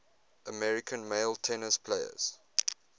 american male tennis players